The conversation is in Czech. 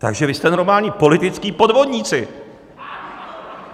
Takže vy jste normální političtí podvodníci!